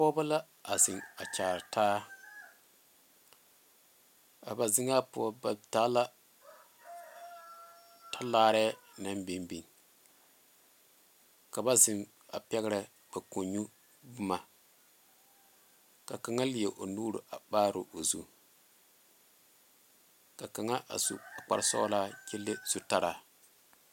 Pɔgebo la a zeŋ a Kyaara taa a ba zeŋa poɔ ba taa la talaare naŋ biŋ biŋ ka ba zeŋ a pɛgre ba konyuu boma ka kaŋa leɛ o nuure a maare o zu ka kaŋa a su kpare sɔglaa kyɛ le zutara.